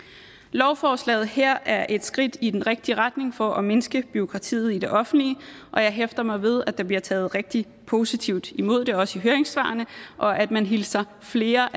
lovforslaget her er et skridt i den rigtige retning for at mindske bureaukratiet i det offentlige og jeg hæfter mig ved at der bliver taget rigtig positivt imod det også i høringssvarene og at man hilser flere